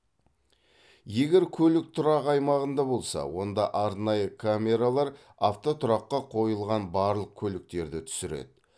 егер көлік тұрақ аймағында болса онда арнайы камералар автотұраққа қойылған барлық көліктерді түсіреді